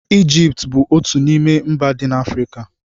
Ijipt bụ otú n'ime mba dị na Afrịka.